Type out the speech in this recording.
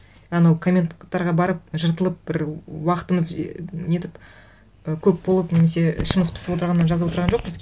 анау комменттықтарға барып жыртылып бір уақытымыз нетіп і көп болып немесе ішіміз пысып отырғаннан жазып отырған жоқпыз